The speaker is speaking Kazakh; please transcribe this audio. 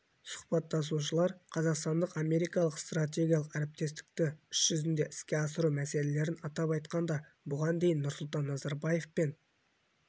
сұхбаттасушылар қазақстандық-америкалық стратегиялық әріптестікті іс жүзінде іске асыру мәселелерін атап айтқанда бұған дейін нұрсұлтан назарбаев пен